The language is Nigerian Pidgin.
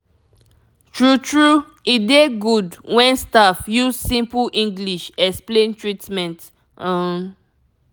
true true e dey good when staff use simple english explain treatment um